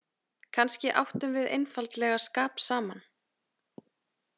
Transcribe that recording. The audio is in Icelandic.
Kannski áttum við einfaldlega skap saman.